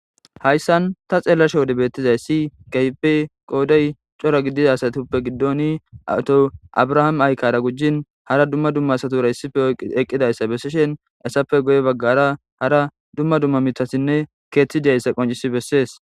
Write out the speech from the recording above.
Hayssan ta xeelasho wode bettizay si gaype qoodey cora gidida asatippe giddoni awto abrahaame aykara gujjin hara dumma dumma satura hissife eqqidayssa bessishen essappe goye baggara hara dumma dumma mitasinne keethtidiyayssa qoncisi bessees.